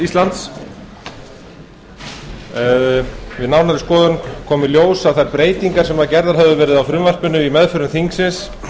íslands við nánari skoðun kom í ljós að þær breytingar sem gerðar höfðu verið á frumvarpinu í meðförum þingsins